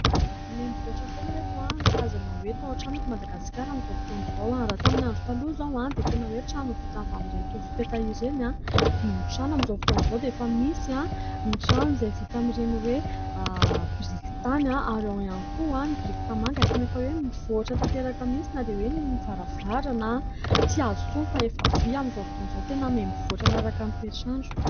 Mihamivoatra foana ry ireto ny karazana hoe tao-trano eto Madagasikara amin'izao fotoan'izao, raha tamin'ny andro taloha izaho dia tena hoe trano vita amin'ireny tofo-peta ireny ny tafotrano ; amin'izao fotoan'izao dia efa misy ny tranon'izay vita amin'ireny biriky tany ary ao ihany koa ny biriky tanimanga tena efa hoe mivoatra tanteraka mihintsy na dia ny varavarana tsy hazo intsony fa efa vy amin'izao fotoan'izao tena mihamivoatra manaraka ny toetr'andro.